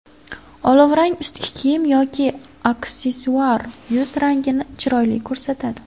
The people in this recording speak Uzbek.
Olovrang ustki kiyim yoki aksessuar yuz rangini chiroyli ko‘rsatadi.